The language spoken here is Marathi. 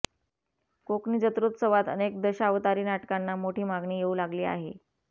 कोकणी जत्रोत्सवात अनेक दशावतारी नाटकांना मोठी मागणी येऊ लागली आहे